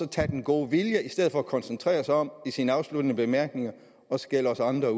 tage den gode vilje i stedet for at koncentrere sig om i sine afsluttende bemærkninger at skælde os andre